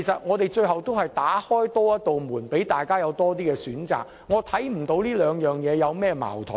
我們是多打開一扇門，讓大家有更多選擇，我看不到兩者有何矛盾。